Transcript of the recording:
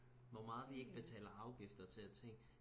hvor meget vi ikke betaler afgifter til af ting